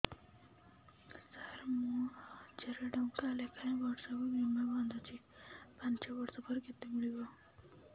ସାର ମୁଁ ହଜାରେ ଟଂକା ଲେଖାଏଁ ବର୍ଷକୁ ବୀମା ବାଂଧୁଛି ପାଞ୍ଚ ବର୍ଷ ପରେ କେତେ ମିଳିବ